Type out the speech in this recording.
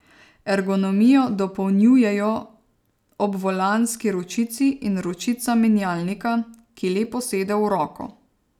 Ergonomijo dopolnjujejo obvolanski ročici in ročica menjalnika, ki lepo sede v roko.